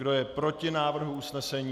Kdo je proti návrhu usnesení?